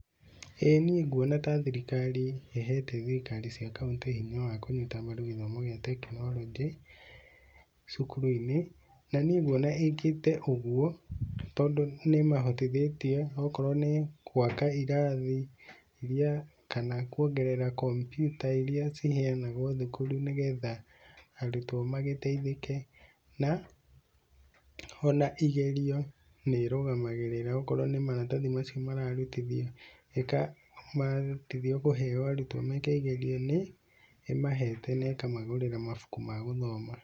ĩĩ niĩ nguona ta thirikari ĩhete thirikari cia County hinya wa kũnyita mbaru gĩthomo gĩa tekinoronjĩ cukuru-inĩ, na niĩ nguona ĩkĩte ũguo tondũ nĩ imahotithĩtie okorwo nĩ gwaka irathi iria, kana kuongerera kompiuta iria ciheanagwo thukuru nĩ getha arutwo magĩteithĩke. na ona igerio nĩ irũgamagĩrĩra okorwo ni maratathi macio mararutithio ika marutithio kũheo arutwo meke igerio ni imahete na ĩkamagũrĩra mabuku magũthoma.